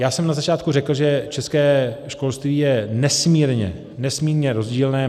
Já jsem na začátku řekl, že české školství je nesmírně, nesmírně rozdílné.